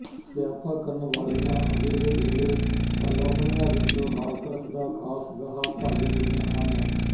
ਸਿਆਪਾ ਕਰਨ ਵਾਲੀਆਂ ਅਜੇਹੇ ਵੇਲੇ ਅਲਾਹੁਣੀਆਂ ਵਿੱਚ ਹਾਸਰਸ ਦਾ ਖਾਸ ਗਾਹ ਭਰ ਦਿੰਦੀਆਂ ਹਨ